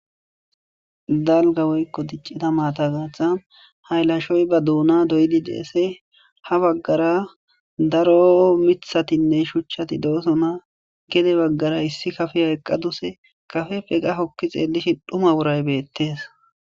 Dalga woyko diccida maata giddon haylashoy ba duuna doyidi deese. Ha baggara daro miththatinne shuchchati doosona. Gede bagara issi kafiya eqqadusse. Gede baqqara qasse eqqa xeellishin dhuma woray beetees.